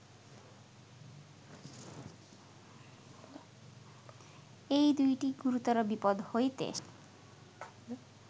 এই দুইটি গুরুতর বিপদ্ হইতে